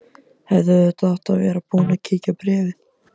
Hefði auðvitað átt að vera búin að kíkja á bréfið.